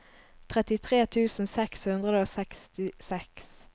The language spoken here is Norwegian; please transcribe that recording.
trettitre tusen seks hundre og sekstiseks